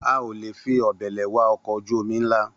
A ò lè fi òbèlè wa ọkọ̀ ojú-omi nla